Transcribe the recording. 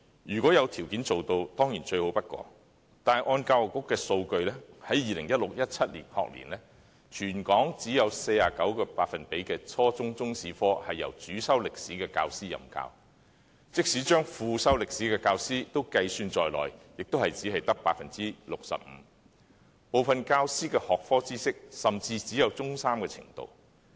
如果有條件做到，當然是最好不過的，根據教育局的數據，在 2016-2017 學年，全港只有 49% 的初中中史科是由主修歷史的教師任教，即使將副修歷史的教師計算在內，也只有 65%， 部分教師的學科知識甚至只有中三程度。